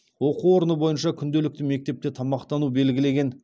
оқу орны бойынша күнделікті мектепте тамақтану белгілеген